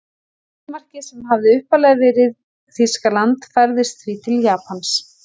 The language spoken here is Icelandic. Skotmarkið sem hafði upphaflega verið Þýskaland færðist því til Japans.